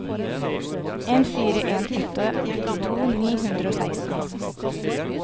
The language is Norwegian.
en fire en en åttito ni hundre og seksten